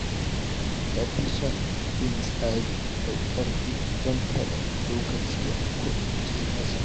Ya fi son bin tsari mai ƙarfi don kada lokaci ya kubce masa.